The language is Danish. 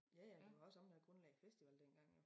Ja ja det var også ham der grundlagde festivalen dengang jo